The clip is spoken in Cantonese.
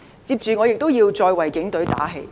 接着我也要再為警隊打氣。